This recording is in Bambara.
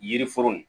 Yiri foro